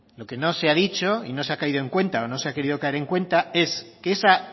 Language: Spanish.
lo que no se ha dicho y no se ha caído en cuenta o no sea querido caer en cuenta es que esa